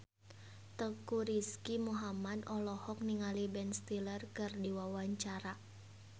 Teuku Rizky Muhammad olohok ningali Ben Stiller keur diwawancara